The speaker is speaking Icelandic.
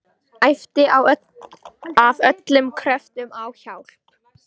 Æpti af öllum kröftum á hjálp.